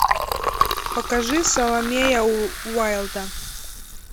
покажи саломея уайльда